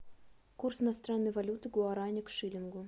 курс иностранной валюты гуарани к шиллингу